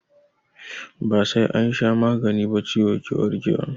Ba sai an sha magani ba ciwo ke warke wa.